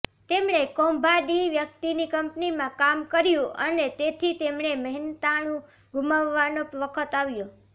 તેમણે કૌભાંડી વ્યક્તિની કંપનીમાં કામ કર્યું અને તેથી તેમણે મહેનતાણું ગુમાવવાનો વખત આવ્યો